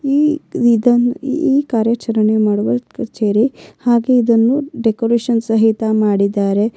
ಈ ವಿಧ ಈ ಕಾರ್ಯಾಚರಣೆ ಮಾಡುವ ಕಚೇರಿ ಹಾಗೆ ಇದನ್ನು ಡೆಕೋರೇಷನ್ ಸಹಿತ ಮಾಡಿದ್ದಾರೆ.